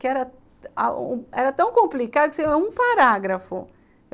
que era tão complicado que era um parágrafo.